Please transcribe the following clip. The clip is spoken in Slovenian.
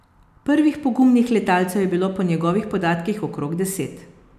Prvih pogumnih letalcev je bilo po njegovih podatkih okrog deset.